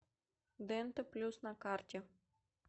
дента плюс на карте